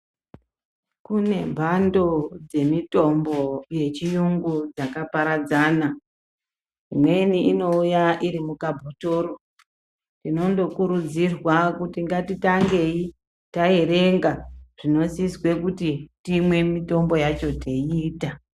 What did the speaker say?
Kune mhando dzemitombo yechiyungu dzakaparadzana. Imweni inouya irimukabhotoro. Tinondokurudzirwa kuti ngatitangei taerenga zvinosiswe kuti timwe mitombo yacho teiita.